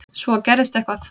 Svo gerðist eitthvað.